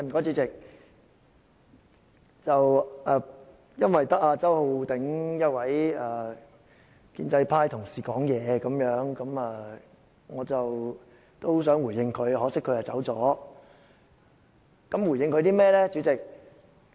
主席，由於只有周浩鼎議員一位建制派同事發言，我想回應他，可惜他已離席。